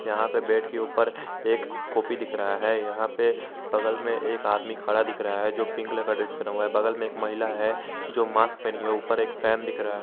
यहां पे बेड के ऊपर एक कॉपी दिख रहा है यहां पे बगल में एक आदमी खड़ा दिख रहा है जो की पिंक कलर का ड्रेस पहना हुआ है बगल में एक महिला है जो मास्क पहने हुई है ऊपर एक फैन दिख--